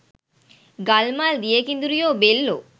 ගල් මල් දිය කිඳුරියෝ බෙල්ලෝ